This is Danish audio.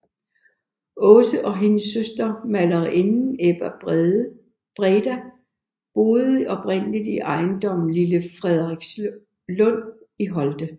Aase og hendes søster malerinden Ebba Breda boede oprindeligt i ejendommen Lille Frederikslund i Holte